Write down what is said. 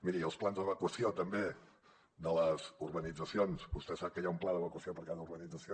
miri els plans d’evacuació també de les urbanitzacions vostè sap que hi ha un pla d’evacuació per cada urbanització